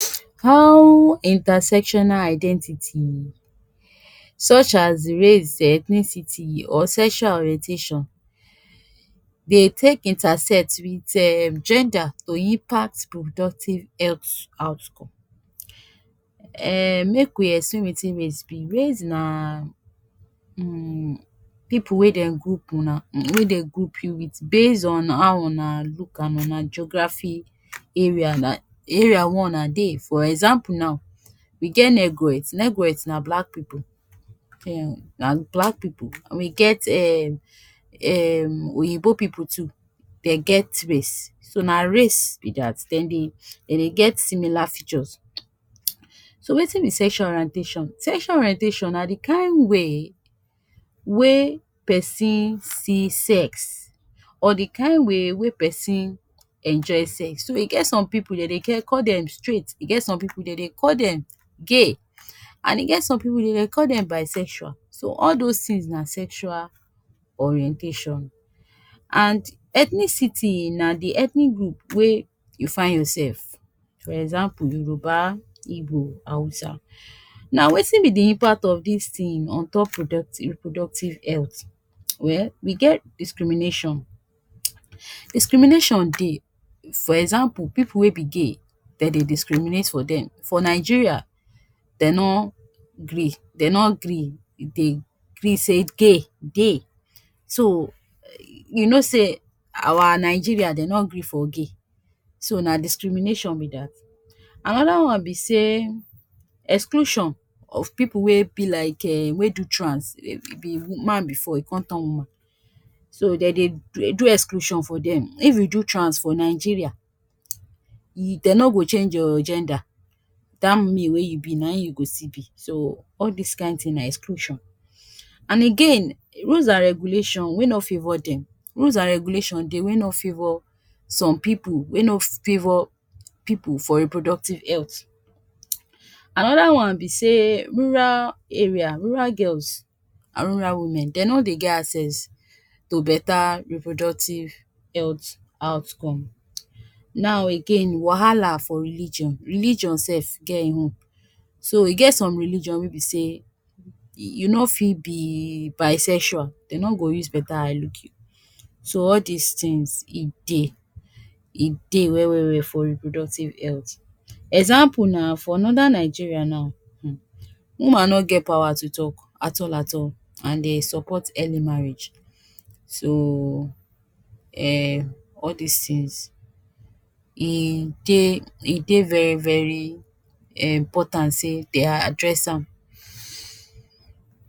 How intersectional identity such as race, ethnicity or sexual orientation dey take intersect wit um gender to impact reproductive health outcome. um Make we explain wetin race be. Race na um pipu wey dem group una, wey dey group you wit base on how una look and una geography area na area wey una dey. For example now, we get negroids. Negroigds na black pipu um na black pipu. We get um um oyibo pipu too, den get race. So na race be dat, dem dey dem dey get similar features. So wetin be sexual orientation. Sexual orientation na de kain way wey pesin see sex, or dey kain way wey pesin enjoy sex. So e get some pipu dey dey ge call dem straight, e get some pipu dey dey call dem gay, and e get some pipu dey dey call dem bisexual. So all dose tins na sexual orientation. And ethnicity na de ethnic group wey you find your sef. For example, yoruba, igbo, hausa. Na wetin be de impact of dis tin on top productive reproductive health. Well, we get discrimination. Discrimination dey. For example, pipu wey be gay, den dey discriminate for dem. For Nigeria, den no gree den no gree dey gree sey gay dey, so you know sey our Nigeria den no gree for gay, so na discrimination be dat. Anoda one be sey exclusion of pipu wey be like um wey do trans, be man before, e come turn woman, so den dey do do exclusion for dem. If you do trans for Nigeria, um dey no go change your gender. Dat male wey you be na im you go still be. So all dis kain tin na exclusion. And again, rules and regulation wey no favour dem, rules and regulation dey wey no favour som pipu, wey no favour pipu for reproductive health. Anoda one be sey rural area rural girls and rural women, dey no dey get access to beta reproductive health outcome. Now again wahala for religion. Religion sef get im own. So e get some religion wey be sey you no fit be bisexual, dey no go use beta eye look you. So all dis tins e dey, e dey well well well for reproductive health. Example na for norda Nigeria now, um woman no get power to talk at all at all, and dey support early marriage. So um all dis tins e dey e dey very very important sey dey address am.